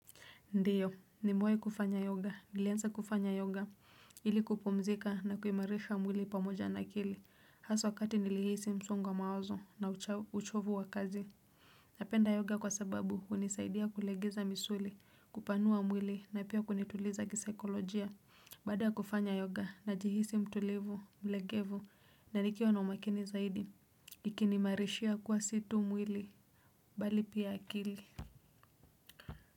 Ndio nimewai kufanya yoga nilianza kufanya yoga ili kupumzika na kuimarisha mwili pamoja na akili hasa wakati nilihisi msongo wa mawazo na uchovu wa kazi. Napenda yoga kwa sababu hunisaidia kulegeza misuli kupanua mwili na pia kunituliza kisaikolojia baada ya kufanya yoga najihisi mtulivu mlegevu na nikiwa na umakini zaidi. Ikiniimarishia kuwa si tu mwili bali pia akili.